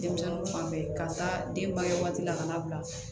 Denmisɛnninw fan bɛɛ ka taa denbaya waati la kana bila